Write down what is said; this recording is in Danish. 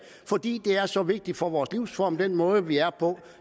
fordi det er så vigtigt for vores livsform altså den måde vi er